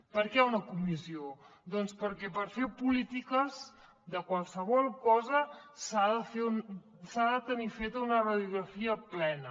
per què una comissió doncs perquè per fer polítiques de qualsevol cosa s’ha de tenir feta una radiografia plena